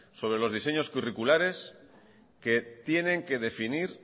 sobre los diseños curriculares que tienen que definir